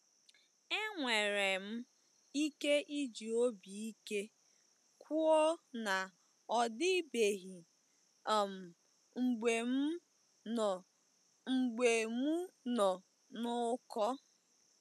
Enwere m ike iji obi ike kwuo na ọ dịbeghị um mgbe m nọ mgbe m nọ n'ụkọ.